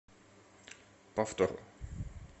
повтор